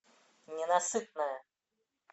ненасытная